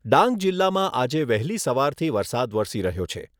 ડાંગ જિલ્લામાં આજે વહેલી સવારથી વરસાદ વરસી રહ્યો છે.